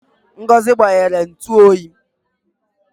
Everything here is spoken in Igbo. Ngozi gbanyere ntu oyi